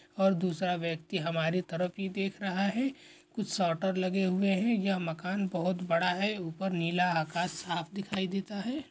और दूसरा व्यक्ति हमारी तरफ ही देख रहा हैं कुछ शटर लगे हुए हैं यह मकान बहुत बड़ा हैं ऊपर नीला आकाश साफ़ दिखाई देता हैं।